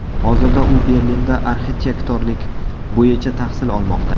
Hozirda u Berlinda arxitektorlik bo‘yicha tahsil olmoqda.